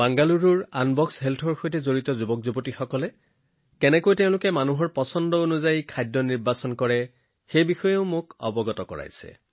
বাংগালুৰুৰ আনবক্স হেল্থৰ সৈতে জড়িত যুৱ দলটোৱেও তেওঁলোকে মানুহক তেওঁলোকৰ পছন্দৰ খাদ্য বাছনি কৰাত কেনেদৰে সহায় কৰি আছে সেই বিষয়েও শ্বেয়াৰ কৰে